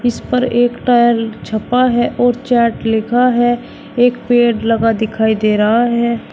इस पर एक टायर छपा है और चैट लिखा है एक पेड़ लगा दिखाई दे रहा है।